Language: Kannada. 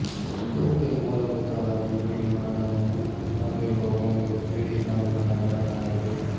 ತೂಪೆ ಮೂಲಭೂತವಾಗಿ ಬಿಳಿ ಮಣ್ಣನ್ನು ಹೊಂದಿರುವ ಒಂದು ತಿಳಿ ಕಂದು ಬಣ್ಣದ ಬಣ್ಣವಾಗಿದೆ